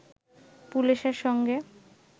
পুলিশের সঙ্গে